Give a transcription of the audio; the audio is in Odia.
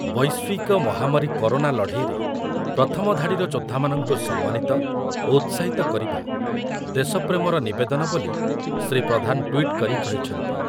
ବୈଶ୍ୱିକ ମହାମାରୀ କରୋନା ଲଢ଼େଇରେ ପ୍ରଥମ ଧାଡ଼ିର ଯୋଦ୍ଧାମାନଙ୍କୁ ସମ୍ମାନିତ ଓ ଉତ୍ସାହିତ କରିବା ଦେଶପ୍ରେମର ନିବେଦନ ବୋଲି ଶ୍ରୀ ପ୍ରଧାନ ଟ୍ୱିଟ୍ କରି କହିଛନ୍ତି ।